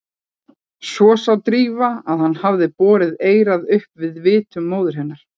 Svo sá Drífa að hann hafði borið eyrað upp að vitum móður hennar.